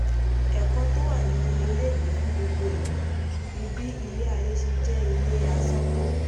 ẹ̀kọ́ tó wà nínú eléyìí fún gbogbo èèyàn ni bí ilẹ̀ ayé ṣe jẹ́ ilé asán tó